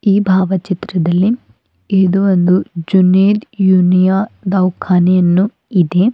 ಈ ಭಾವಚಿತ್ರದಲ್ಲಿ ಇದು ಒಂದು ಜೂನೆದ ಯುನಿಯಾ ದೌಖಾನೆಯನ್ನು ಇದೆ.